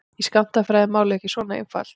Í skammtafræði er málið ekki svona einfalt.